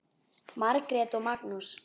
Margrét og Magnús.